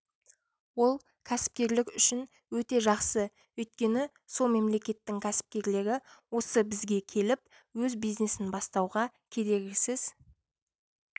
ол кәсіпкерлік үшін өте жақсы өйткені сол мемлекеттің кәсіпкерлері осы бізге келіп өз бизнесін бастауға кедергісіз